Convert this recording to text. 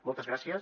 moltes gràcies